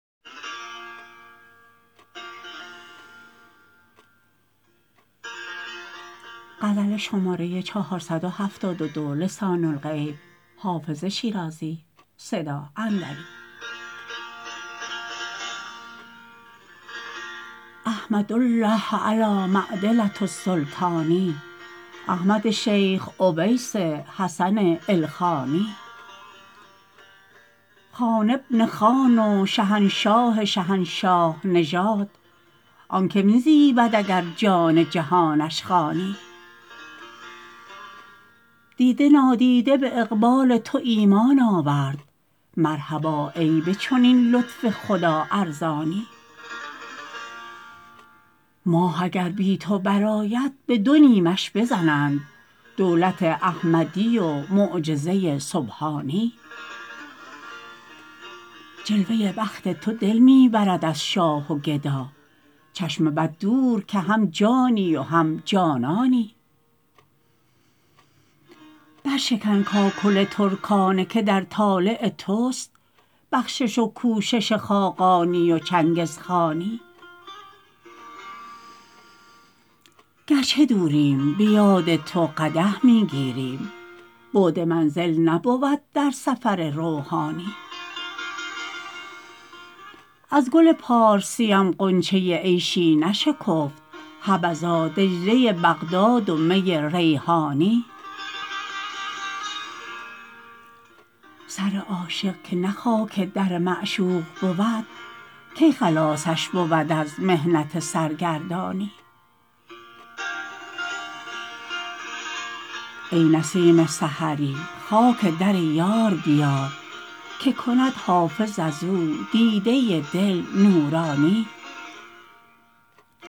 احمد الله علی معدلة السلطان احمد شیخ اویس حسن ایلخانی خان بن خان و شهنشاه شهنشاه نژاد آن که می زیبد اگر جان جهانش خوانی دیده نادیده به اقبال تو ایمان آورد مرحبا ای به چنین لطف خدا ارزانی ماه اگر بی تو برآید به دو نیمش بزنند دولت احمدی و معجزه سبحانی جلوه بخت تو دل می برد از شاه و گدا چشم بد دور که هم جانی و هم جانانی برشکن کاکل ترکانه که در طالع توست بخشش و کوشش خاقانی و چنگزخانی گر چه دوریم به یاد تو قدح می گیریم بعد منزل نبود در سفر روحانی از گل پارسیم غنچه عیشی نشکفت حبذا دجله بغداد و می ریحانی سر عاشق که نه خاک در معشوق بود کی خلاصش بود از محنت سرگردانی ای نسیم سحری خاک در یار بیار که کند حافظ از او دیده دل نورانی